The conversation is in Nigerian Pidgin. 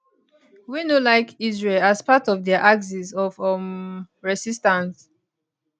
wey no like israel as part of dia axis of um resistance